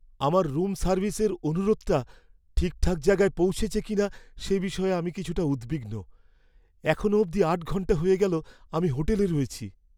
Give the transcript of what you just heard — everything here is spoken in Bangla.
আমার রুম সার্ভিসের অনুরোধটা ঠিকঠাক জায়গায় পৌঁছেছে কিনা সে বিষয়ে আমি কিছুটা উদ্বিগ্ন। এখনও অবধি আট ঘন্টা হয়ে গেল আমি হোটেলে রয়েছি।